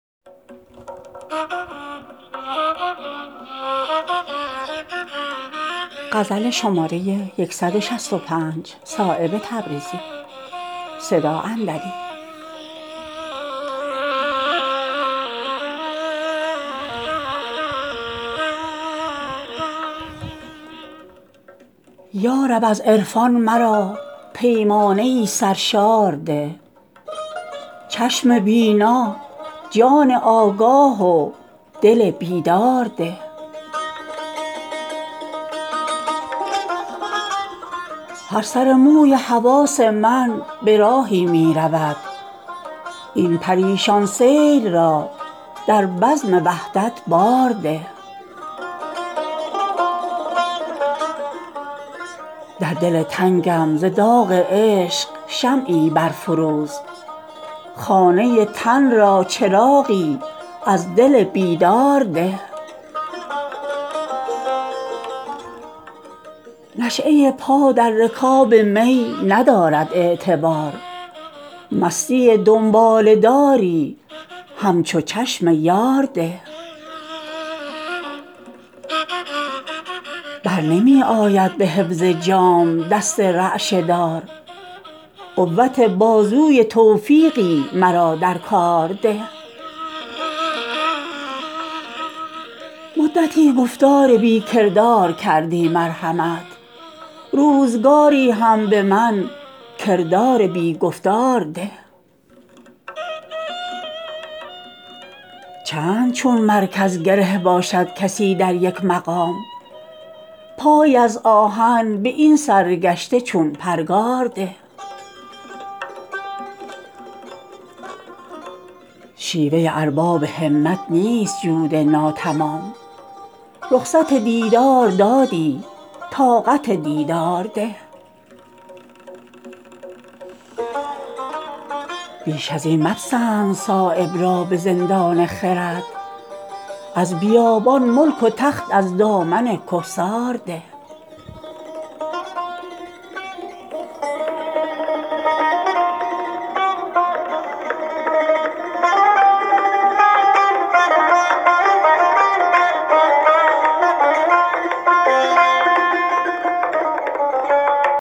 یارب از عرفان مرا پیمانه ای سرشار ده چشم بینا جان آگاه و دل بیدار ده هر سر موی حواس من به راهی می رود این پریشان سیر را در بزم وحدت بار ده در دل تنگم ز داغ عشق شمعی برفروز خانه تن را چراغی از دل بیدار ده مدتی شد تا ز سرمشق جنون افتاده ام سرخطی از نو به این مجنون بی پرگار ده نشیهء پا در رکاب می ندارد اعتبار مستی دنباله داری همچو چشم یار ده در لباس تن پرستی پایکوبی مشکل است دامن جان را رهایی زین ته دیوار ده قسمت خاصان بود هر چند درد و داغ عشق عام کن این لطف را بخشی به این افگار ده برنمی آید به حفظ جام دست رعشه دار قوت بازوی توفیقی مرا در کار ده پیچ و تاب بی قراری رشته صد گوهرست گنج را از من بگیر و پیچ و تاب مار ده چار دیوار عناصر نیست میدان سماع رخصت جولان مرا در عالم انوار ده چند مالم سینه بر ریگ روان از تشنگی شربت آبی به من زان تیغ بی زنهار ده مدتی گفتار بی کردار کردی مرحمت روزگاری هم به من کردار بی گفتار ده چند چون مرکز گره باشد کسی در یک مقام پایی از آهن به این سرگشته چون پرگار ده شیوه ارباب همت نیست جود ناتمام رخصت دیدار دادی طاقت دیدار ده کار را بی کارفرما پیش بردن مشکل است کارفرمایی به من از غیرت همکار ده سینه ای چون چنگ لبریز فغانم داده ای صددهن در ناله کردن همچو موسیقار ده بیش ازین مپسند صایب را به زندان خرد از بیابان ملک و تخت از دامن کهسار ده